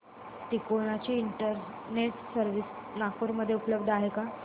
तिकोना ची internet service Nagpur मध्ये उपलब्ध आहे का